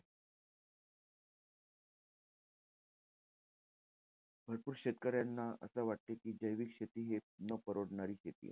भरपूर शेतकऱ्यांना असं वाटत कि जैविक शेती हे न परवडणारी शेती आहे.